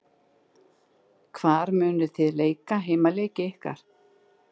Hvar munuð þið leika heimaleiki ykkar?